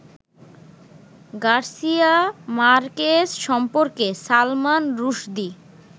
Garcia Marquez সম্পর্কে সালমান রুশদি